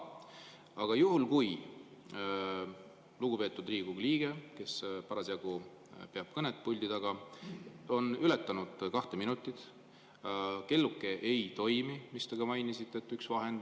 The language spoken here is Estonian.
Aga juhul, kui lugupeetud Riigikogu liige, kes parasjagu peab kõnet puldi taga, on ületanud kaks minutit ja kelluke ei toimi,?